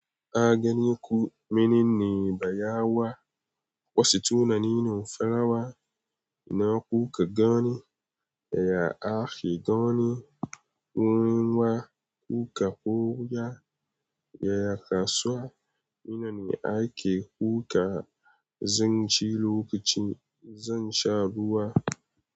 A ganiku mene ne baya wa, wasu tunanin farawa. Ina kuka gani? Yaya ake gani. Wurin wa kuka koya? Yaya kasuwa? Ina ne ake kuka? Zanci lokaci zan sha ruwa.